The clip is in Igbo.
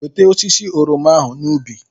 Weta osisi oroma ahụ n'ubi!